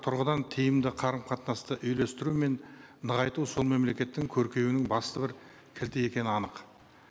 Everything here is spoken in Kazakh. тұрғыдан тиімді қарым қатынасты үйлестіру мен нығайту сол мемлекеттің көркеюінің басты бір кілті екені анық